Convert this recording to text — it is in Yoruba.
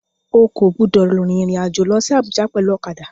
O kò gbúdọ̀ rin ìrìn àjò lọsí Abùjá pẹ̀lú ọ̀kadà.